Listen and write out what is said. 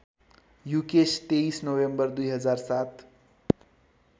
Yukesh २३ November २००७